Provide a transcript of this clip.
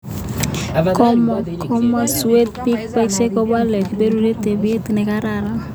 komamasut pek bisiek komakat keporie tapiet nekararan